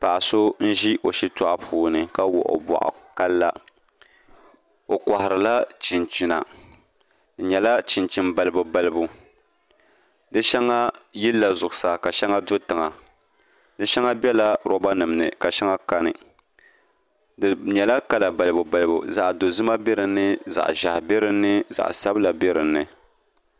Paɣa so n ʒi o shitoɣu puuni ka wuɣi o boɣu ka la o koharila chinchina di nyɛla chinchini balibu balibu di shɛŋa yilila zuɣusaa ka shɛŋa do tiŋa di shɛŋa biɛla roba nim ni ka shɛŋa kani di nyɛla kala balibu balibu zaɣ dozima bɛ dinni ka ʒiɛhi bɛ dinni zaɣ sabila bɛ dinni